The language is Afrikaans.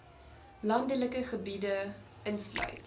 landelike gebiede insluit